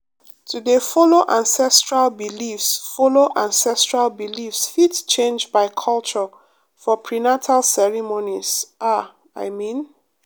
to dey follow ancestral beliefs follow ancestral beliefs fit change by culture for prenatal ceremonies ah i mean